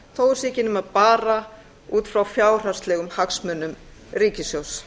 ekki nema bara út frá fjárhagslegum hagsmunum ríkissjóðs